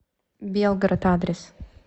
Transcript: белгород адрес